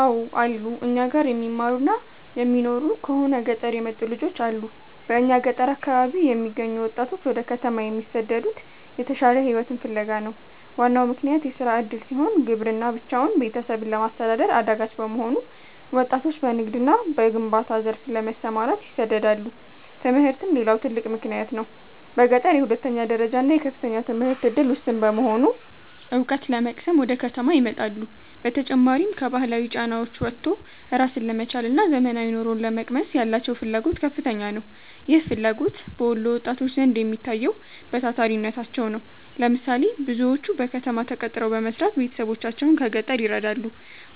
አው አሉ, እኛ ጋር የሚማሩና የሚኖሩ ከሆነ ገጠር የመጡ ልጆች አሉ በእኛ ገጠር አካባቢ የሚገኙ ወጣቶች ወደ ከተማ የሚሰደዱት የተሻለ ሕይወትን ፍለጋ ነው። ዋናው ምክንያት የሥራ ዕድል ሲሆን፣ ግብርና ብቻውን ቤተሰብን ለማስተዳደር አዳጋች በመሆኑ ወጣቶች በንግድና በግንባታ ዘርፍ ለመሰማራት ይሰደዳሉ። ትምህርትም ሌላው ትልቅ ምክንያት ነው። በገጠር የሁለተኛ ደረጃና የከፍተኛ ትምህርት ዕድል ውስን በመሆኑ፣ ዕውቀት ለመቅሰም ወደ ከተማ ይመጣሉ። በተጨማሪም፣ ከባህላዊ ጫናዎች ወጥቶ ራስን ለመቻልና ዘመናዊ ኑሮን ለመቅመስ ያላቸው ፍላጎት ከፍተኛ ነው። ይህ ፍላጎት በወሎ ወጣቶች ዘንድ የሚታየው በታታሪነታቸው ነው። ለምሳሌ፦ ብዙዎቹ በከተማ ተቀጥረው በመስራት ቤተሰቦቻቸውን ከገጠር ይረዳሉ።